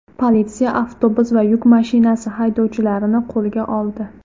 Politsiya avtobus va yuk mashinasi haydovchilarini qo‘lga oldi.